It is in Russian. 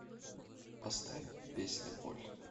поставь песня боль